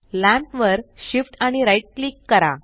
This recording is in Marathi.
लॅम्प वर Shift आणि राइट क्लिक करा